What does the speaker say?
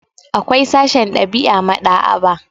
Akwai sashen ɗab'i a maɗ'aba'a.